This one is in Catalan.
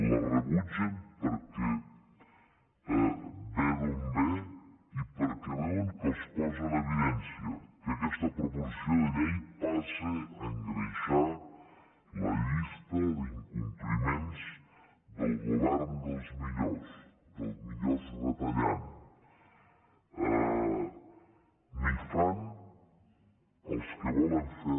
la rebutgen perquè ve d’on ve i perquè veuen que els posa en evidència que aquesta proposició de llei passa a engreixar la llista d’incompliments del govern dels millors dels millors retallant ni fan els que volen fer